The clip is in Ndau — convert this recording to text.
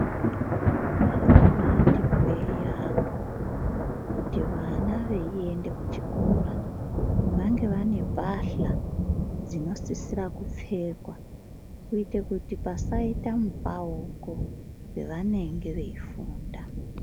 Zvakabaati hwee yaampho kuti vana veiende kuchikora, vange vane pahla, dzinosisira kupfekwa kuitire kuti pasaita mupauko, pevanenge veifunda.